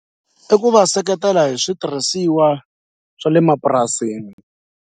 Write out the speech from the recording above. I ku va seketela hi switirhisiwa swa le mapurasini.